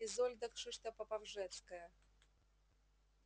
изольда кшыштопоповжецкая